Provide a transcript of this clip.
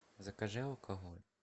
закажи алкоголь